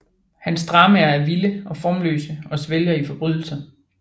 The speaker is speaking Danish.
Hans dramaer er vilde og formløse og svælger i forbrydelser